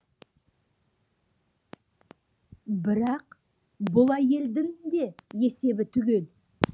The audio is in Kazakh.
бірақ бұл әйелдің де есебі түгел